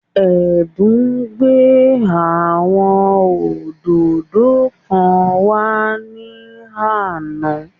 Ẹ̀bùn gbé àwọn òdòdó kan wá ní àná